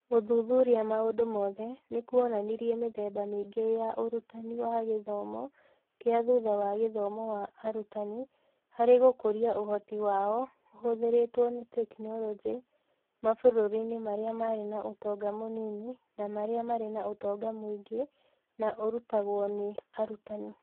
Gũthuthuria maũndũ mothe, nĩ kuonanirie mĩthemba mĩingĩ ya ũrutani wa gĩthomo kĩa thutha wa gĩthomo wa arutani harĩ gũkũria ũhoti wao ũhũthĩrĩtwo nĩ tekinoronjĩ mabũrũri-inĩ marĩa marĩ na ũtonga mũnini na marĩa marĩ na ũtonga mũingĩ, na ũrutagwo nĩ arutani.